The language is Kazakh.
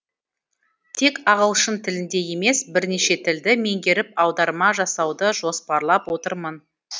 тек ағылшын тілінде емес бірнеше тілді меңгеріп аударма жасауды жоспарлап отырмын